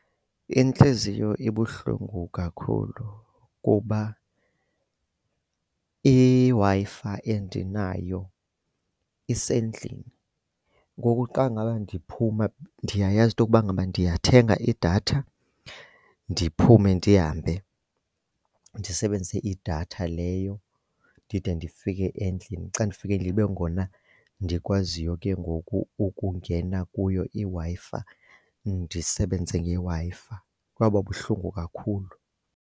Intliziyo ibuhlungu kakhulu kuba iWi-Fi endinayo isendlini. Ngoku xa ngaba ndiphuma ndiyayazi into yokuba ngaba ndiyathenga idatha ndiphume ndihambe, ndisebenzise idatha leyo ndide ndifike endlini. Xa ndifike kube ngona ndikwaziyo ke ngoku ukungena kuyo iWi-Fi ndisebenze ngeWi-Fi. Kwaba buhlungu kakhulu.